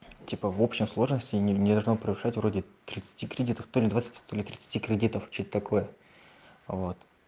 типа в общей сложности не должна превышать вроде тридцати кредитов то-ли двадцати то-ли тридцати кредитов что то такое вот